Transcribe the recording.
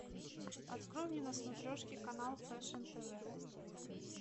открой мне на смотрешке канал фэшн тв